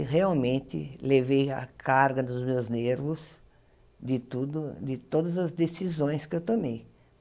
E realmente levei a carga dos meus nervos de tudo de todas as decisões que eu tomei.